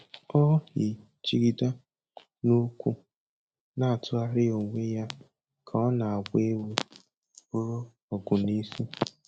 O yi jigida n'ukwu na-atụgharị onwe ya ka ọ na-agba egwu buru ọgụ n'isi